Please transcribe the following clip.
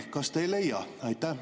Kas te ei leia?